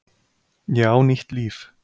Ég á nýtt líf.